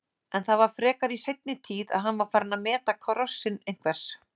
En það var frekar í seinni tíð að hann var farinn að meta krossinn einhvers.